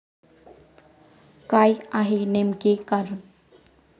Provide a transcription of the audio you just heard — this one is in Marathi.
काय आहे नेमके कारण?